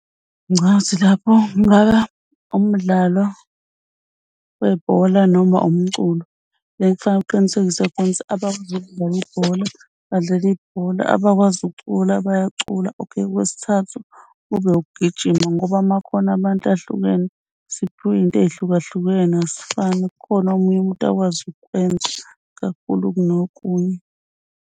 Ngicabanga ukuthi lapho kungaba umdlalo webhola noma umculo bekufanele uqinisekise khona ukuthi abakwazi ukudlala ibhola, badlala ibhola, abakwazi ukucula bayacula. Okay, okwesithathu, kube ukugijima ngoba amakhono abantu ahlukene siphiwe iy'nto ey'hlukahlukene asifani kukhona omunye umuntu akwazi ukukwenza kakhulu kunokunye.